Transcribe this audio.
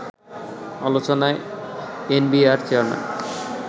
আলোচনায় NBR chairman